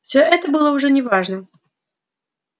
всё это было уже не важно